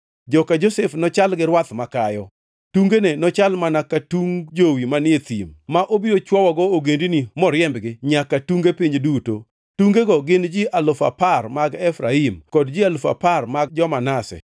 Joka Josef nochal gi rwath makayo, tungene nochal mana ka tung jowi manie thim, ma obiro chuowogo ogendini moriembgi nyaka tunge piny duto. Tungego gin ji alufu apar mag Efraim kod ji alufu apar mag jo-Manase.